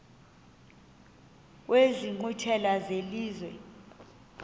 kwezi nkqwithela zelizwe